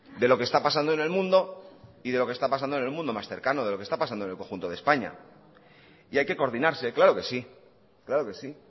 de lo que está pasando en el mundo y de lo que está pasando en el mundo más cercano de lo que está pasando en el conjunto de españa y hay que coordinarse claro que sí claro que sí